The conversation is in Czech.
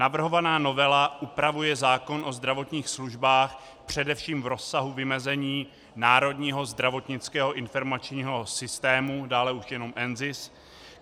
Navrhovaná novela upravuje zákon o zdravotních službách především v rozsahu vymezení Národního zdravotnického informačního systému, dále už jenom NZIS.